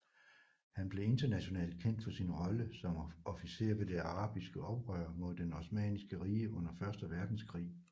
Han blev internationalt kendt for sin rolle som officer ved det arabiske oprør mod det Osmanniske Rige under første verdenskrig